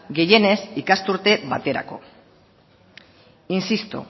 gehienez ikasturte baterako insisto